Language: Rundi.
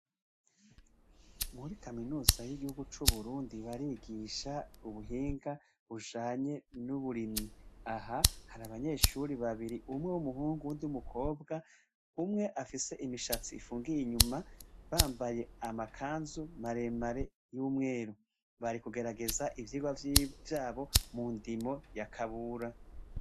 Muri kaminuza yuburundi barigisha ubuhinga bujanye nuburimyi aha harabanyeshuri babiri umwe wumuhungu uwundi wumukobwa umwe afise imishatsi ifungiye inyuma bambaye amakanzu maremare yumweru bari mukugerageza ivyirwa vyabo mundimo ya kabura